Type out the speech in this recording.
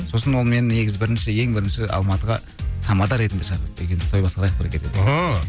сосын ол мені негізі бірінші ең бірінші алматыға тамада ретінде шақырды екеуміз той басқарайық бірге деп